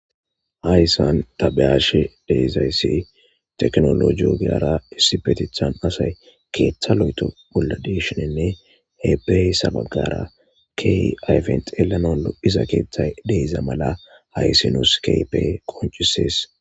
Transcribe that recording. Haysa ta be'ashe de'iyays tekinoloje ogiyara issippetethan asayi keetha lo'etho bolla de'ishininne he be'iyasa bagara ayfen xelanawu keehippe lo'iza keethay diza mala haysi nusi qoncises